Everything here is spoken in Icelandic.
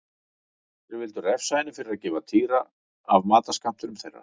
Þeir vildu refsa henni fyrir að gefa Týra af matarskammtinum þeirra.